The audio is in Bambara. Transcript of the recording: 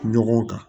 Ɲɔgɔn kan